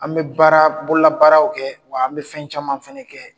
An bɛ baara bolola baaraw kɛ, wa an bɛ fɛn caman fana kɛ.